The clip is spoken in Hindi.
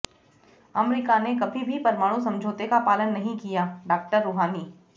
अमरीका ने कभी भी परमाणु समझौते का पालन नहीं कियाः डाक्टर रूहानी